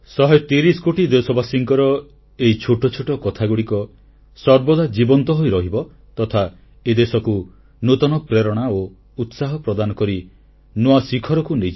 130 କୋଟି ଦେଶବାସୀଙ୍କର ଏହି ଛୋଟ ଛୋଟ କଥାଗୁଡ଼ିକ ସର୍ବଦା ଜୀବନ୍ତ ହୋଇରହିବ ତଥା ଏ ଦେଶକୁ ନୂତନ ପ୍ରେରଣା ଓ ଉତ୍ସାହ ପ୍ରଦାନ କରି ନୂଆ ଶିଖରକୁ ନେଇଯିବ